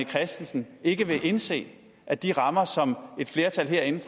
christensen ikke vil indse at de rammer som et flertal herinde